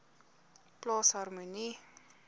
plaas harmonie